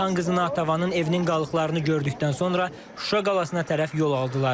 Xan qızı Natəvanın evinin qalıqlarını gördükdən sonra Şuşa qalasına tərəf yol aldılar.